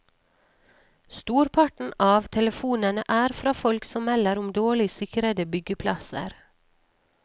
Storparten av telefonene er fra folk som melder om dårlig sikrede byggeplasser.